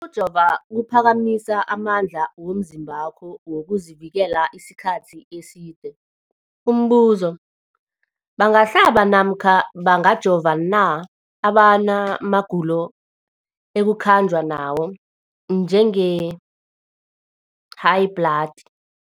Ukujova kuphakamisa amandla womzimbakho wokuzivikela isikhathi eside. Umbuzo, bangahlaba namkha bangajova na abantu abana magulo ekukhanjwa nawo, njengehayibhladi?